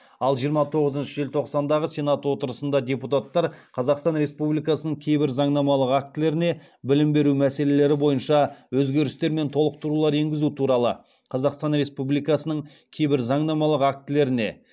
ал жиырма тоғызыншы желтоқсандағы сенат отырысында депутаттар қазақстан республикасының кейбір заңнамалық актілеріне білім беру мәселелері бойынша өзгерістер мен толықтырулар енгізу туралы қазақстан республикасының кейбір заңнамалық актілеріне